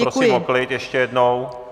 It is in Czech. Prosím o klid ještě jednou!